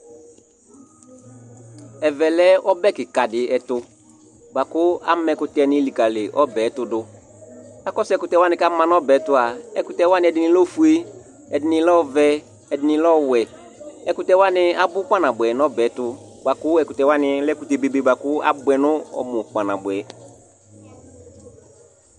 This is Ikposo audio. Ɛvɛ lɛ ɔbɛ kika di ɛtu Bua ku ama ɛkutɛ likali ɔbɛ ɛtu du Akɔsu ɛkutɛ wani ku ama nu ɔbɛ tua ɛkutɛ wani ɛdini lɛ ofue ɛdini lɛ ɔvɛ ɛdini lɛ ɔwɛ ɛkutɛ wani abu kpa nabuɛ nu ɔbɛ tu buaku ɛkutɛwani alɛ ɛkutɛ bebe bua ku abue nu ɔmu kpa nabuɛ